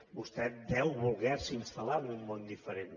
vostè deu volerse instal·lar en un món diferent